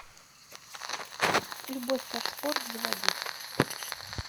любовь как спорт заводи